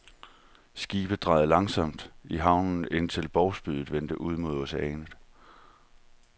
Skibet drejede langsomt i havnen, indtil bovsprydet vendte ud mod oceanet.